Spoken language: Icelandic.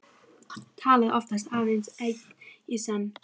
Talaði oftast aðeins einn í senn.